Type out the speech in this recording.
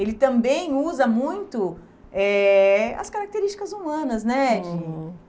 Ele também usa muito eh as características humanas, né? Uhum.